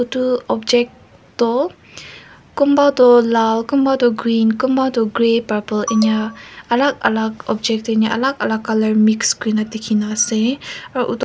itu object toh kunba tu laal kunba tu green kunba tu grey purple inia alak alak object teh inia alak alak colour mix kurina dikhina ase aru--